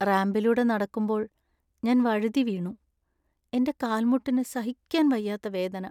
റാമ്പിലൂടെ നടക്കുമ്പോൾ ഞാൻ വഴുതിവീണു. എന്‍റെ കാൽമുട്ടിനു സഹിക്കാൻ വയ്യാത്ത വേദന.